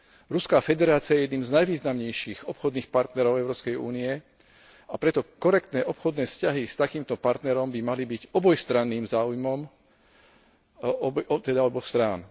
Ruská federácia je jedným z najvýznamnejších obchodných partnerov Európskej únie, a preto by korektné obchodné vzťahy s takýmto partnerom mali byť obojstranným záujmom, teda záujmom oboch strán.